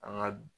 An ka